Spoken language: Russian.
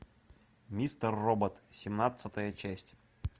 мистер робот семнадцатая часть